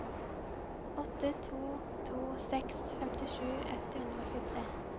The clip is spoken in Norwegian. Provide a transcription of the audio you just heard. åtte to to seks femtisju ett hundre og tjuetre